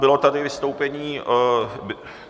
Bylo tady vystoupení...